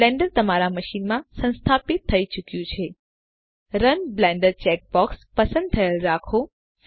Blender તમારા મશીનમાં સંસ્થાપિત થઇ ચુક્યું છે રન બ્લેન્ડર ચેકબોક્સ પસંદ થયેલ રાખો